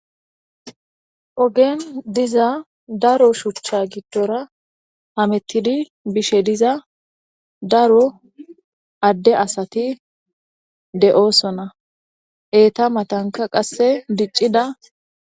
ogen diza daro shuchcha giddora hamettidi bishe diza daro adde asati de7oosona eeta matanka qasse diccida